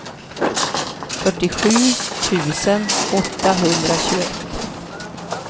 fyrtiosju tusen åttahundratjugoett